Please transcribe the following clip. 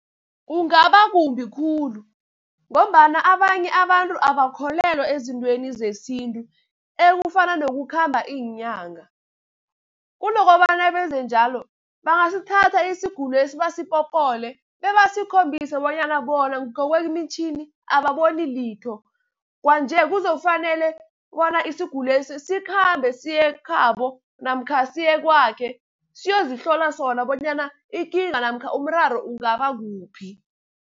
Kungaba kumbi khulu, ngombana abanye abantu abakholelwa ezintweni zesintu ekufana nokukhamba iinyanga. Kunokobana benze njalo bangasithatha isigulesi basipopole, bebasikhombise bonyana bona ngokwemitjhini ababoni litho. Kwanje kuzofanele bona isiguli lesi sikhambe siye ekhabo, namkha siye kwakhe siyozihlola sona bonyana ikinga namkha umraro ungaba kuphi.